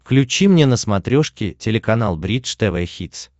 включи мне на смотрешке телеканал бридж тв хитс